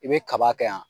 I bɛ kaba kɛ yan